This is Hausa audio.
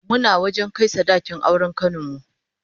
Muna wajen kai sadakin auren kanin mu